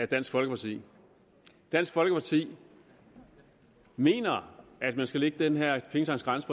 dansk folkeparti dansk folkeparti mener at man skal lægge den her pengetanksgrænse